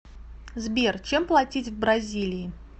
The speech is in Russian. сбер чем платить в бразилии